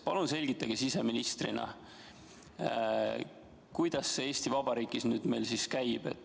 Palun selgitage siseministrina, kuidas see Eesti Vabariigis meil siis nüüd käib.